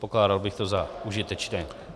Pokládal bych to za užitečné.